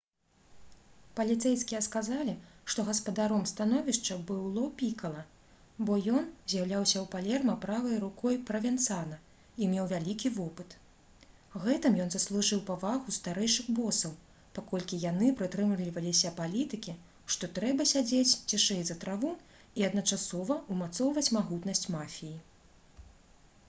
паліцэйскія сказалі што гаспадаром становішча быў ло пікала бо ён з'яўляўся ў палерма правай рукой правенцана і меў вялікі вопыт. гэтым ён заслужыў павагу старэйшых босаў паколькі яны прытрымліваліся палітыкі што трэба «сядзець цішэй за траву» і адначасова ўмацоўваць магутнасць мафіі